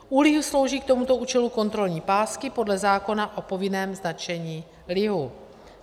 U lihu slouží k tomuto účelu kontrolní pásky podle zákona o povinném značení lihu.